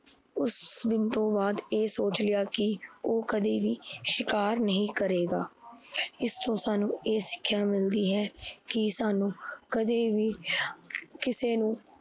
ਉਸ ਦਿਨ ਤੋਂ ਬਾਦ ਇਹ ਸੋਚ ਲਿਆ ਕੀ ਓਹ ਕਦੇ ਵੀ ਸ਼ਿਕਾਰ ਨਹੀਂ ਕਰੇਗਾ। ਇਸਤੋਂ ਸਾਨੂੰ ਇਹ ਸਿੱਖਿਆ ਮਿਲਦੀ ਹੈ ਕਿ ਸਾਨੂੰ ਕਦੇ ਵੀ ਕਿਸੇ ਨੂੰ